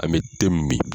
An bɛ te min